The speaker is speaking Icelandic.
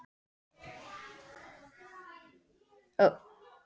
Hann hafði annað útvarp uppi.